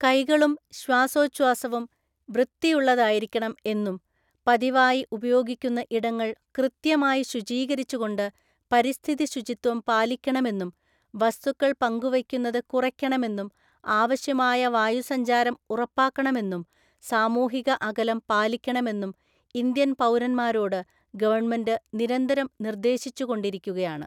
കൈകളും ശ്വാസോഛാസവും വൃത്തിയുള്ളതായിരിക്കണം എന്നും പതിവായി ഉപയോഗിക്കുന്ന ഇടങ്ങള്‍ കൃത്യമായി ശുചീകരിച്ചുകൊണ്ട് പരിസ്ഥിതി ശുചിത്വം പാലിക്കണമെന്നും, വസ്തുക്കള്‍ പങ്കുവയ്ക്കുന്നത് കുറയ്ക്കണമെന്നും ആവശ്യമായ വായു സഞ്ചാരം ഉറപ്പാക്കണമെന്നും സാമൂഹിക അകലം പാലിക്കണമെന്നും ഇന്ത്യൻ പൗരന്മാരോടു ഗവണ്മെന്റ് നിരന്തരം നിർദ്ദേശിച്ചുകൊണ്ടിരിക്കുകയാണ്.